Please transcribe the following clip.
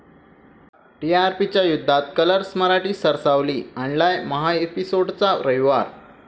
टीआरपीच्या युद्धात कलर्स मराठी सरसावली, आणलाय महाएपिसोड्सचा रविवार